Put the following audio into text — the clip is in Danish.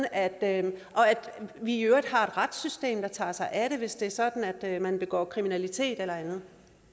at vi i øvrigt har et retssystem der tager sig af det hvis det er sådan at man begår kriminalitet eller andet